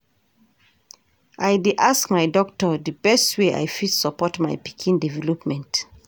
I dey ask my doctor di best way I fit support my pikin development.